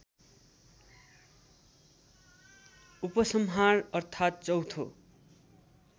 उपसंहार अर्थात् चौथो